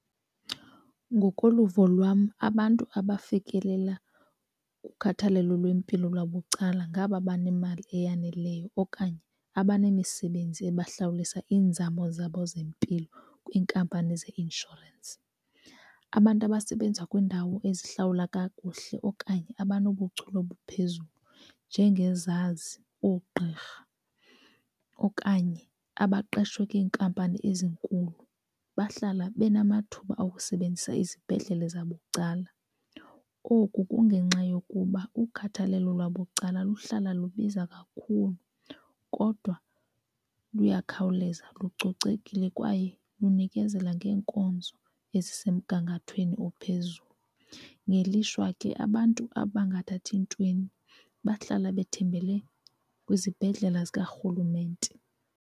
Ngokoluvo lwam, abantu abafikelela kukhathalelo lwempilo lwabucala ngaba banemali eyaneleyo okanye abanemisebenzi ebahlawulisa iinzamo zabo zempilo kwiinkampani zeinshorensi. Abantu abasebenza kwiindawo ezihlawula kakuhle okanye abanobuchule obuphezulu njengezazi, oogqirha okanye abaqeshwe kwiinkampani ezinkulu bahlala benamathuba okusebenzisa izibhedlele zabucala. Oku kungenxa yokuba ukhathalelo lwabucala luhlala lubiza kakhulu kodwa luyakhawuleza, lucocekile kwaye lunikezela ngeenkonzo ezisemgangathweni ophezulu. Ngelishwa ke abantu abangathathi ntweni bahlala bethembele kwizibhedlele zikarhulumente.